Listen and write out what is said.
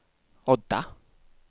Odda